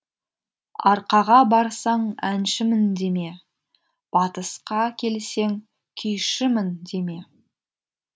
арқаға барсаң әншімін деме батысқа келсең күйшімін деме